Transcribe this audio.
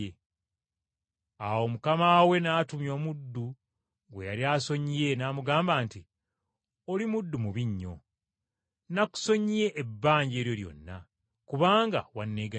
“Awo mukama we n’atumya omuddu gwe yali asonyiye n’amugamba nti, ‘Oli muddu mubi nnyo. Nakusonyiye ebbanja eryo lyonna, kubanga wanneegayiridde,